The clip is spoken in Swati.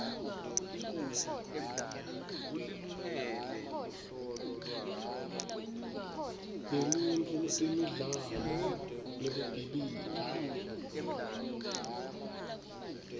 yeluntfu kutemidlalo nekukhibika